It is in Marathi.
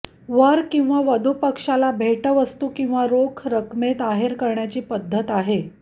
वर किंवा वधू पक्षाला भेटवस्तू किंवा रोख रकमेत आहेर करण्याची पद्धत आहे